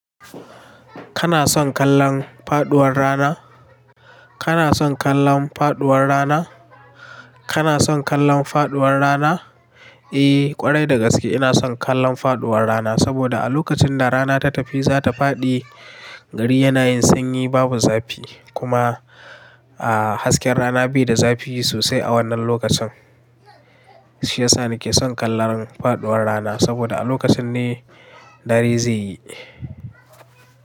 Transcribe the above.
Kana son kallon faduwar rana? Kana son kallon faduwar rana? Kana son kallon faduwar rana? Eh ƙwarai da gaske ina son kallon faɗuwar rana, saboda a lokacin da rana ta tafi zata fadi gari yana yin sanyi babu zafi kuma a hasken rana bai da zafi sosai a wannan lokacin. Shi yasa nike son kallon faɗuwar rana saboda a lokacin ne dare zai yi.